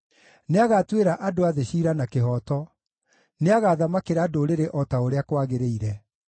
Nĩagatuĩra andũ a thĩ ciira na kĩhooto; nĩagathamakĩra ndũrĩrĩ o ta ũrĩa kwagĩrĩire.